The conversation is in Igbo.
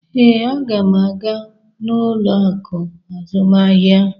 Ee, m ga-aga n:ụlọ akụ azụmahịa.